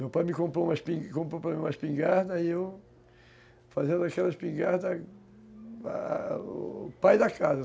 Meu pai me comprou uma espin, comprou para mim uma espingarda e eu... Fazendo daquela espingarda... O pai da casa.